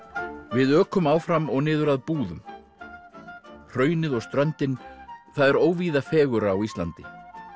við ökum áfram og niður að Búðum hraunið og ströndin það er óvíða fegurra á Íslandi